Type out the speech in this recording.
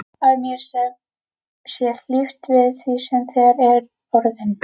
Að mér sé hlíft við því sem þegar er orðið.